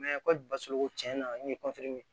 kɔli basigi ko tiɲɛna n ye